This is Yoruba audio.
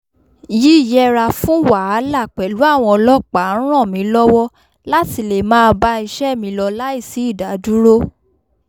yíyẹra fún wàhálà pẹ̀lú àwọn ọlọ́pàá ń ràn mí lọ́wọ́ láti lè máa bá iṣẹ́ mi lọ láìsí ìdádúró